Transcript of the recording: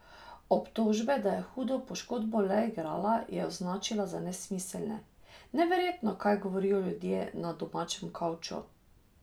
Obtožbe, da je hudo poškodbo le igrala, je označila za nesmiselne: "Neverjetno, kaj govorijo ljudje na domačem kavču.